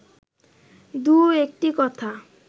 দু-একটি কথা